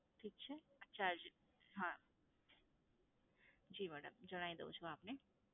ઠીક છે? આ charge હા. જી madam જણાવી દઉં છું આપને.